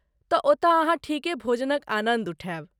तऽ ओतऽ अहाँ ठीके भोजनक आनन्द उठायब।